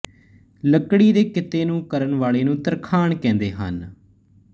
ਲੱਕੜੀ ਦੇ ਕਿੱਤੇ ਨੂੰ ਕਰਨ ਵਾਲੇ ਨੂੰ ਤਰਖਾਣ ਕਹਿੰਦੇ ਹਨ